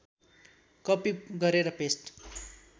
कपि गरेर पेस्ट